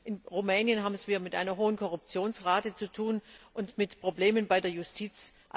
In Rumänien haben wir es mit einer hohen Korruptionsrate zu tun und mit Problemen bei der Justiz.